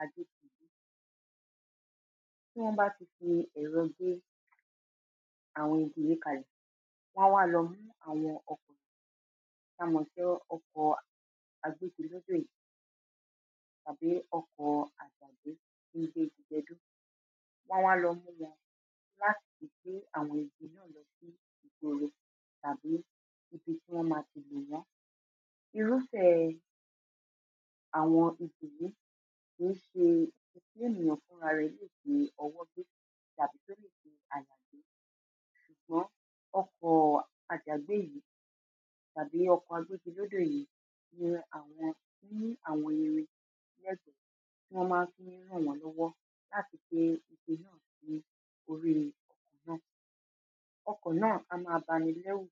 agbégi tí wọ́n bá ti fi ẹ̀rọ gé àwọn igi yìí kalẹ̀, wọ́n á wa lọ mú àwọn ọkọ̀ tí a mọ̀ sí ọkọ̀ agbégilódò yìí àbí ọkọ̀ àjàgbé tí ń gbé igi gẹdú, wọn wá lọ mú wọ́n láti fi gbé àwọn igi náà lọ sí ipele tàbí tí wọ́n ma fi igi mọ́ irúfẹ́ àwọn igi yìí kìí ṣe ǹkan tí ènìyàn fúnra rẹ̀ lè fi ọwọ́ gbé tàbí tí ò lè fi àdá é ṣùgbọ́n àjàgbé yìí àbí ọkọ̀ agbégilódò yìí ni àwọn ní àwọn irin ti wọ́n ma ń fi ń rànwọ́nlọ́wọ́ láti gbé igi ní orí náà. ọkọ̀ náà á ma banilẹ́rù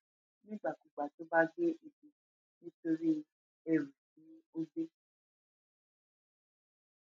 nígbàkígbà nígbà tó bá gbé igi nítorí ẹrù tí ó gbé